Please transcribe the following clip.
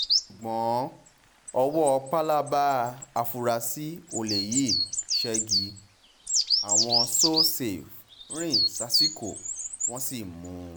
ṣùgbọ́n ọwọ́ pálábá àfurasí olè yìí ṣẹ́gi àwọn so-safe rìn sásìkò wọ́n sì mú un